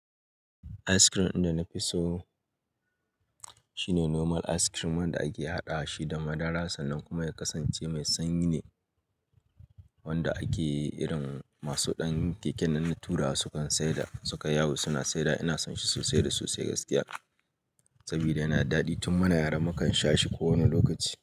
Ice cream ɗin da na fi so shine normal ice cream wanda ake haɗa shi da madara sannan kuma ya kasance mai sanyi ne wanda ake irin masu ɗan keke nan na turawa sukan sayar da suka yawo suna sayar da. Ina son shi sosai da sosai gaskiya saboda yana daɗi tun muna yara mu kan sha shi kowane lokaci.